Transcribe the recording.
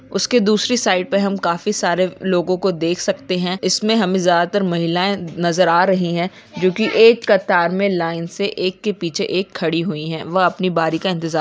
उसकी दूसरे साइड पे हम काफी सारे लोगों को देख सकते हैं इसमें हमे ज्यादातर महिलाएं नजर आ रही हैं जो की एक कतार में लाइन से एक के पीछे एक खड़े हुई हैं वह अपनी बारी का इंतजार --